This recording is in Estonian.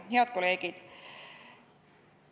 Head kolleegid!